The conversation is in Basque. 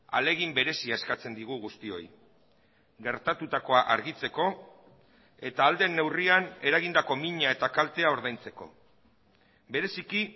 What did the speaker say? ahalegin berezia eskatzen digu guztioi gertatutakoa argitzeko eta ahal den neurrian eragindako mina eta kaltea ordaintzeko bereziki